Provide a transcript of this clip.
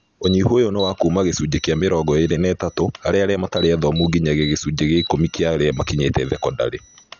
Ũnyihu ũyũ nĩ wa kuuma gĩcunjĩ kĩa mĩrongo ĩĩrĩ na ithatũ harĩ arĩa matarĩ athomu nginyagia gĩcunjĩ gĩa ikũmi kĩa arĩa makinyĩte thekondarĩ